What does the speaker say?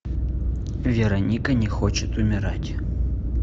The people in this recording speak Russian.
вероника не хочет умирать